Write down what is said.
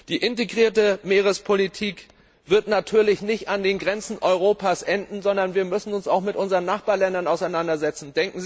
Die integrierte Meerespolitik wird natürlich nicht an den Grenzen Europas enden, sondern wir müssen uns auch mit unseren Nachbarländern auseinandersetzen.